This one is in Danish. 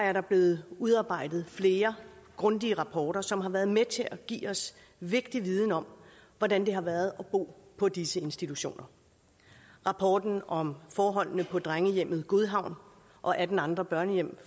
er der blevet udarbejdet flere grundige rapporter som har været med til at give os vigtig viden om hvordan det har været at bo på disse institutioner rapporten om forholdene på drengehjemmet godhavn og atten andre børnehjem